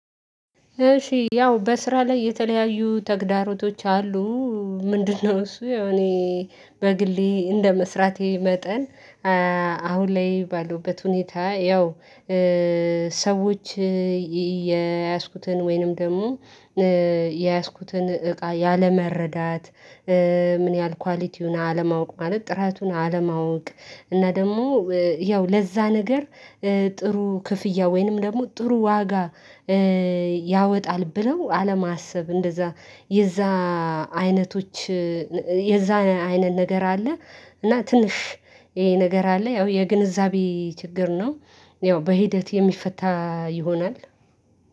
እሺ ያው በስራ ላይ የተለያዩ ተግዳሮቶች አሉ። ምንድነው? እሱ ያው እኔ በግሌ እንደመስራቴ መጠን አሁን ላይ ባለሁበት ሁኔታ ያው ሰዎች የያዝኩትን ወይንም ደግሞ የያዝኩትን እቃ ያለመረዳት ምን ያህል ኳሊቲውን አለማወቅ ማለት ጥራቱን አለማወቅ እና ደግሞ ያው ለዛ ነገር ጥሩ ክፍያ ወይንም ደግሞ ጥሩ ዋጋ። ያወጣል ብለው አለማሰብ እንደዛ የዛ አይነቶች የዛ አይነት ነገር አለ። እና ትንሽ ይሄ ነገር አለ ያው የግንዛቤ ችግር ነው። ያው በሂደት የሚፈታ ይሆናል።